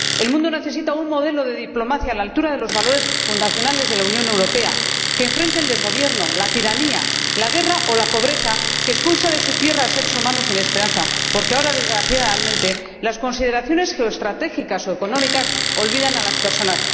El mundo necesita un modelo de diplomacia a la altura de los valores fundacionales de la Unión Europea que enfrente el desgobierno, la tiranía, la guerra o la pobreza que expulsan de su tierra a seres humanos sin esperanza porque ahora, desgraciadamente, las consideraciones geoestratégicas o económicas olvidan a las personas.